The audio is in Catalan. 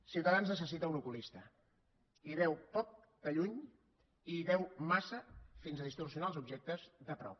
ciutadans necessita un oculista hi veu poc de lluny i hi veu massa fins a distorsionar els objectes de prop